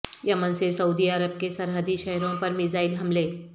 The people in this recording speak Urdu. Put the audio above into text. یمن سے سعودی عرب کے سرحدی شہروں پر میزائل حملے